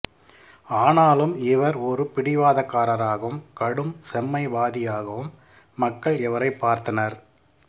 ஆனாலும் இவர் ஒரு பிடிவாதக்காரராகவும் கடும் செம்மைவாதியாகவும் மக்கள் இவரைப் பார்த்தனர்